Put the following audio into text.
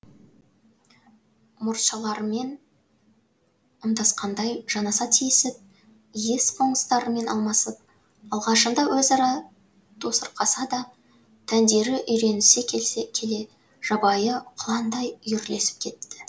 мұртшаларымен ымдасқандай жанаса тиісіп иіс қоңыстарымен алмасып алғашында өзара тосырқасса да тәндері үйренісе келе жабайы құландай үйірлесіп кетті